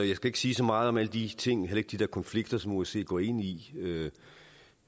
jeg skal ikke sige så meget om alle de ting heller ikke om de der konflikter som osce går ind i